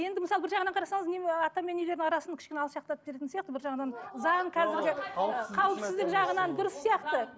енді мысалы бір жағынан қарасаңыз ыыы ата мен нелердің арасын кішкене алшақтатып жіберетін сияқты бір жағынан заң қазіргі қауіпсіздік жағынан дұрыс сияқты